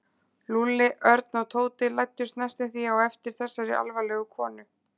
Lúlli, Örn og Tóti læddust næstum því á eftir þessari alvarlegu konu.